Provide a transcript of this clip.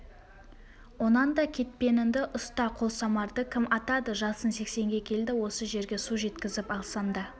онан да кетпеніңді ұста қолсамарды кім атады жасың сексенге келді осы жерге су жеткізіп алсаң да